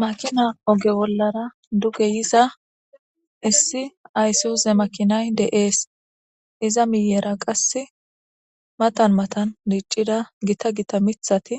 makina oge bollara duge yiza issi aysiuze makinay de7ees iza miyera qass matan matan diiccida gita gita mithati